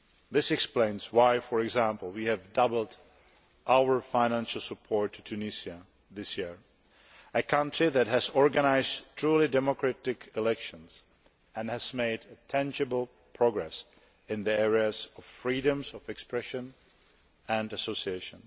This explains why, for example, we have doubled our financial support to Tunisia this year, a country that has organised truly democratic elections and has made tangible progress in the areas of freedoms of expression and association.